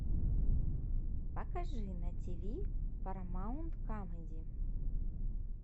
покажи на тв парамаунт камеди